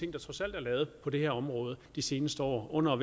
ting der trods alt er lavet på det her område de seneste år under